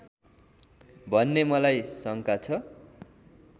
भन्ने मलाई शङ्का छ